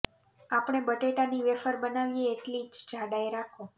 આપણે બટેટા ની વેફર બનાવીએ એટલી જ જાડાઈ રાખો